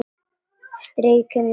Strýk mér um magann.